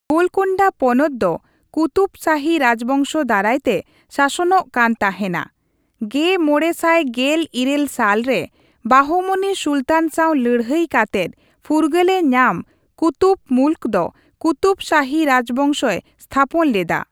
ᱜᱳᱞᱠᱳᱱᱰᱟ ᱯᱚᱱᱚᱛ ᱫᱚ ᱠᱩᱛᱩᱵ ᱥᱟᱦᱤ ᱨᱟᱡᱽᱵᱚᱝᱥᱚ ᱫᱟᱨᱟᱭᱛᱮ ᱥᱟᱥᱚᱱᱚᱜ ᱠᱟᱱ ᱛᱟᱦᱮᱱᱟ, ᱑᱕᱑᱘ ᱥᱟᱞ ᱨᱮ ᱵᱟᱦᱚᱢᱚᱱᱤ ᱥᱩᱞᱛᱟᱱ ᱥᱟᱶ ᱞᱟᱹᱲᱦᱟᱹᱭ ᱠᱟᱛᱮᱫ ᱯᱷᱩᱨᱜᱟᱹᱞᱮ ᱧᱟᱢ ᱠᱩᱛᱩᱵ ᱢᱩᱞᱠ ᱫᱚ ᱠᱩᱛᱩᱵ ᱥᱟᱦᱤ ᱨᱟᱡᱽᱵᱚᱝᱥᱚᱭ ᱛᱦᱟᱯᱚᱱ ᱞᱮᱫᱟ ᱾